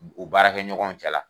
U baarakɛ ɲɔgɔnw cɛla.